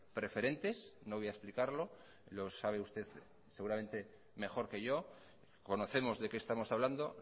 preferentes no voy a explicarlo lo sabe usted seguramente mejor que yo conocemos de qué estamos hablando